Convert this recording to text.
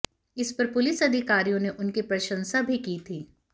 इस पर पुलिस अधिकारियों ने उनकी प्रशंसा भी की थी